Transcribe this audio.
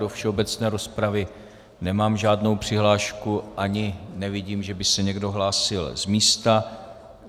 Do všeobecné rozpravy nemám žádnou přihlášku ani nevidím, že by se někdo hlásil z místa.